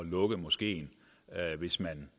lukke moskeen hvis man